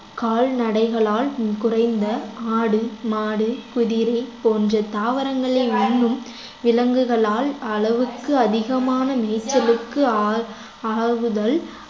கால்நடைகளால் குறைந்த ஆடு மாடு குதிரை போன்ற தாவரங்களை உண்ணும் விலங்குகளால் அளவுக்கு அதிகமான மேச்சலுக்கு ஆள்~ ஆகுதல்